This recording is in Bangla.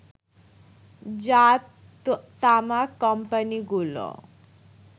যা তামাক কোম্পানিগুলোর